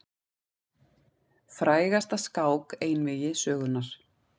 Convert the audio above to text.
Frægasta skák einvígi sögunnar.